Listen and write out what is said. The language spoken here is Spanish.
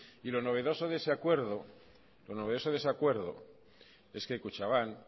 y lo novedoso de ese acuerdo es que kutxabank